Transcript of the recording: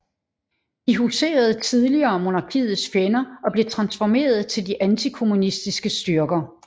De husede tidligere monarkiets fjender og blev transformeret til de antikommunistiske styrker